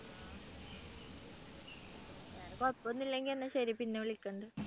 വേറെ കുഴപ്പമൊന്നുമില്ലെങ്കിൽ എന്നാ ശരി പിന്നെ വിളിക്കണ്ട്.